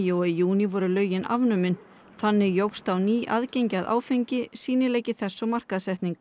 og í júní voru lögin afnumin þannig jókst á ný aðgengi að áfengi sýnileiki þess og markaðssetning